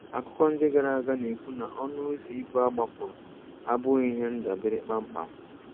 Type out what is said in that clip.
Akụkọ ndị gara aga na-ekwu na ọnụ ụzọ ibu a gbapụrụ abụghị ihe ndabere kpamkpam.